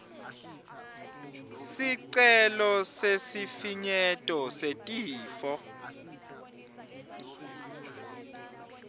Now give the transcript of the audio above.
sicelo sesifinyeto setifo